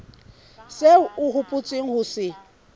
seo o hopotseng ho se